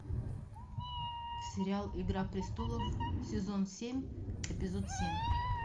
сериал игра престолов сезон семь эпизод семь